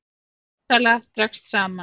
Lyfjasala dregst saman